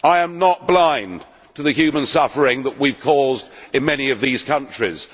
I am not blind to the human suffering that we have caused in many of these countries.